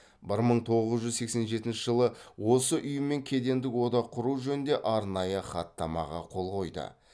бір мың тоғыз жүз сексен жетінші жылы осы ұйыммен кедендік одақ құру жөнінде арнайы хаттамаға қол қойды